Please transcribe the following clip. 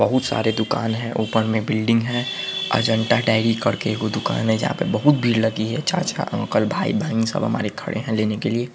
बहुत सारे दुकान हैं ऊपर में बिल्डिंग है अजन्ता डेरी करके एगो दुकान है जहाँ पे बहुत भीड़ लगि है चाचा अंकल भाई बहन सब हमारे खड़े हैं लेने के लिए |